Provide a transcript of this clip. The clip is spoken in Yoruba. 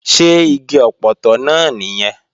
Ṣé igi ọpọtọ náà nìyẹn?